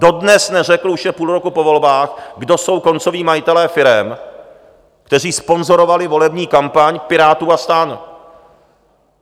Dodnes neřekl, už je půl roku po volbách, kdo jsou koncoví majitelé firem, kteří sponzorovali volební kampaň pirátů a STAN.